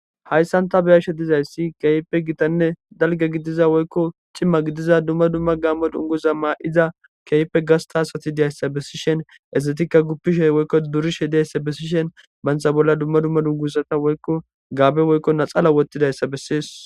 Haysan ta beyashe dizaysi kehippe gitanne dalga gidiza woyko c'ima gidiza duma duma gamo dunguza mayida kehippe hasta asati dizaysa besishin izetika gupishenne bagati durishe dizaysa besishin bantha bolla duma duma dunguza woyko gabe woykonaxala wothidaysa besees.